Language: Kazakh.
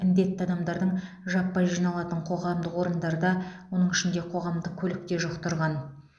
індетті адамдардың жаппай жиналатын қоғамдық орындарда оның ішінде қоғамдық көлікте жұқтырған